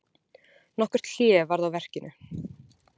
Nokkurt hlé varð á verkinu.